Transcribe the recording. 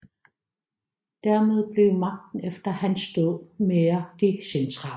Dermed blev magten efter hans død mere decentral